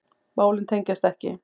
Málin tengjast ekki.